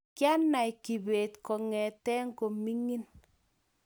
kyanai Kibet kongete komining